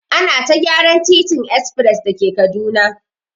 Ana ta gyaran titin espres da ke Kaduna.